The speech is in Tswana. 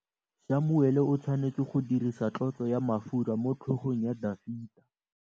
Samuele o tshwanetse go dirisa tlotsô ya mafura motlhôgong ya Dafita.